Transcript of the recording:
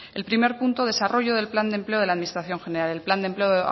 el primer punto desarrollo del plan de empleo de la administración general el plan de empleo